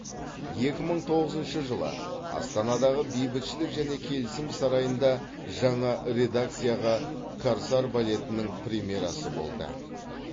екі мың тоғызыншы жылы астанадағы бейбітшілік және келісім сарайында жаңа редакциядағы корсар балетінің премьерасы болды